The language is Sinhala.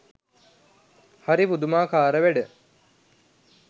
හරි පුදුමාකාර වැඩ.